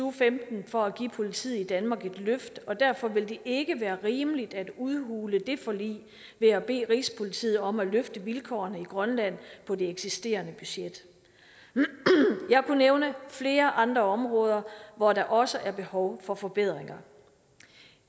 og femten for at give politiet i danmark et løft og derfor vil det ikke være rimeligt at udhule det forlig ved at bede rigspolitiet om at løfte vilkårene i grønland på det eksisterende budget jeg kunne nævne flere andre områder hvor der også er behov for forbedringer